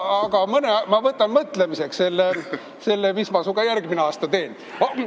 Aga ma võtan mõelda selle, mis ma sinuga järgmine aasta teen.